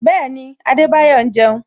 Bẹẹni, Adebayo ń jeun